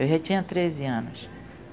Eu já tinha treze anos.